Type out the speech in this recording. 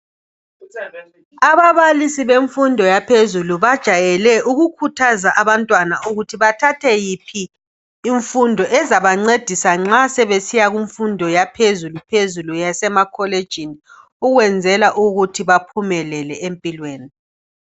Ababalisi bemfundo yaphezulu bajayele ukukhuthaza abantwana ukuthi bathathe yiphi imfundo ezabancedisa nxa sebesiya kumfundo yaphezulu phezulu yasemakholejini ukwenzela ukuthi baphumelele empilweni